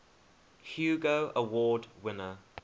hugo award winner